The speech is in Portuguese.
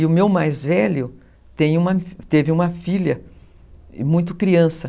E o meu mais velho tem, teve uma filha, muito criança.